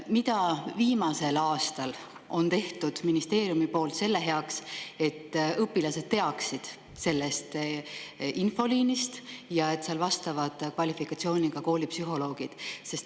Mida on ministeerium viimasel aastal teinud selle heaks, et õpilased teaksid sellest infoliinist ja sellest, et seal vastavad kvalifikatsiooniga koolipsühholoogid?